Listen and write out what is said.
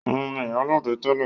Òun ni ìyálóde tẹ́lẹ̀